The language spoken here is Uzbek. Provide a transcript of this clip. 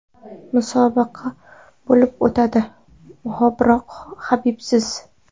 Musobaqa bo‘lib o‘tadi, biroq Habibsiz.